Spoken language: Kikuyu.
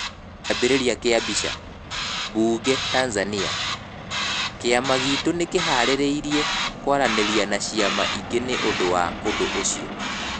Kiambiriria kia mbica, Bunge/Tanzania: Kiama gitũ nĩkĩharĩirie kwaranĩria na ciama ingĩ nĩ ũndũ wa ũndũ ũcio.